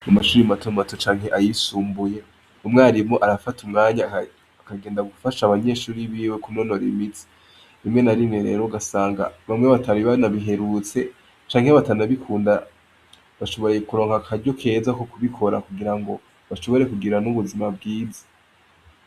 Mu mashure mato mato canke ayisumbuye, umwarimu arafata umwanya akagenda gufasha abanyeshure biwe kunonora imitsi, rimwe na rimwe rero ugasanga bamwe batari banabiherutse, canke batanabikunda, bashoboye kuronka akaryo keza ko kubikora kugira ngo bashobore kugira n'ubuzima bwiza.